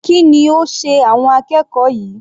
Kí ni ó sé àwọn akẹ́kọ̀ọ́ yìí?